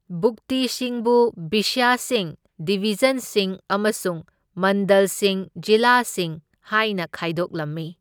ꯚꯨꯛꯇꯤꯁꯤꯡꯕꯨ ꯕꯤꯁꯌꯁꯤꯡ ꯗꯤꯚꯤꯖꯟꯁꯤꯡ ꯑꯃꯁꯨꯡ ꯃꯟꯗꯜꯁꯤꯡ ꯖꯤꯂꯥꯁꯤꯡ ꯍꯥꯏꯅ ꯈꯥꯏꯗꯣꯛꯂꯝꯃꯤ꯫